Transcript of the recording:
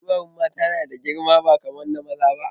Ɗuwawun mata yana da girma ba kaman na maza ba